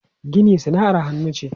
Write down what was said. Gini sana'ar hannu ce.